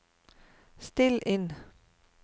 still inn